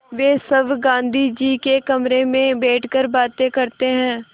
वे सब गाँधी जी के कमरे में बैठकर बातें करते हैं